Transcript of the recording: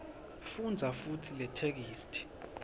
fundza futsi letheksthi